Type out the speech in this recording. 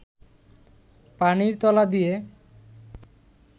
পানির তলা দিয়ে